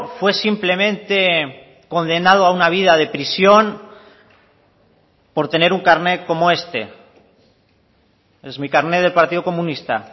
fue simplemente condenado a una vida de prisión por tener un carnet como este es mi carnet del partido comunista